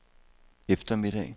eftermiddag